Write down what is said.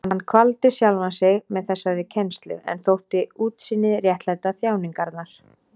Hann kvaldi sjálfan sig með þessari kennslu en þótti útsýnið réttlæta þjáningarnar.